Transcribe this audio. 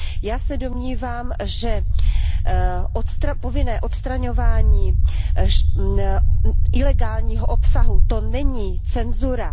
Já se domnívám, že povinné odstraňování ilegálního obsahu, to není cenzura.